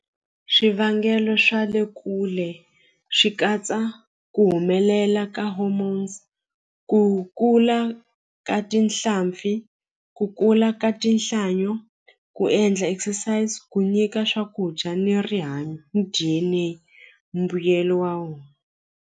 Swivangelo swa le kule swi katsa ku humelela ka hormones ku kula ka tinhlampfi ku kula ka tinhlanyo ku endla exercise ku nyika swakudya ni rihanyo mbuyelo wa .